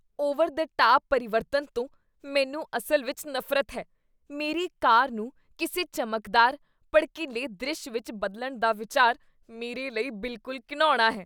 over the top ਪਰਿਵਰਤਨ ਤੋਂ ਮੈਨੂੰ ਅਸਲ ਵਿੱਚ ਨਫ਼ਰਤ ਹੈ ਮੇਰੀ ਕਾਰ ਨੂੰ ਕਿਸੇ ਚਮਕਦਾਰ, ਭੜਕਿਲ੍ਹੇ ਦ੍ਰਿਸ਼ ਵਿੱਚ ਬਦਲਣ ਦਾ ਵਿਚਾਰ ਮੇਰੇ ਲਈ ਬਿਲਕੁਲ ਘਿਣਾਉਣਾ ਹੈ